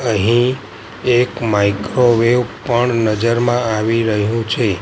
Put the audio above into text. અહીં એક માઇક્રોવેવ પણ નજરમાં આવી રહ્યું છે.